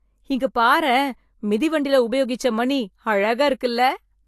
இங்க பாரேன், மிதிவண்டில உபயோகிச்ச மணி, அழகா இருக்குல்ல.